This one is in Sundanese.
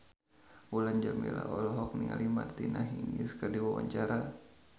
Mulan Jameela olohok ningali Martina Hingis keur diwawancara